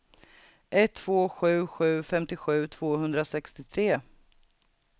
ett två sju sju femtiosju tvåhundrasextiotre